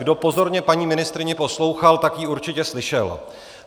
Kdo pozorně paní ministryni poslouchal, tak ji určitě slyšel.